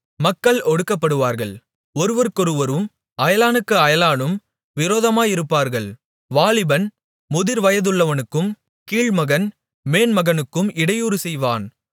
மக்கள் ஒடுக்கப்படுவார்கள் ஒருவருக்கொருவரும் அயலானுக்கு அயலானும் விரோதமாயிருப்பார்கள் வாலிபன் முதிர்வயதுள்ளவனுக்கும் கீழ்மகன் மேன்மகனுக்கும் இடையூறு செய்வான்